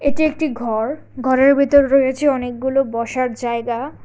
এটি একটি ঘর ঘরের ভিতর রয়েছে অনেকগুলো বসার জায়গা।